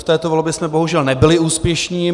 V této volbě jsme bohužel nebyli úspěšní.